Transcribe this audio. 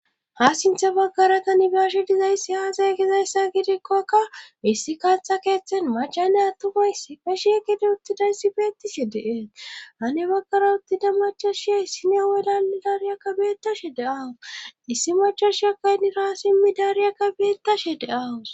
Ha sintha baggara kanibiyashe dizayssi haazay gizayssa gidikkokka issi kaaththa keeththen macaney attufoyssi feshiegide uttida issi beettishe deeet hane baggara uttida machashiya issine wadanni daariyakka beetashe deawus issi machashiya kayniraa simmi daariyakka beettashe deawus.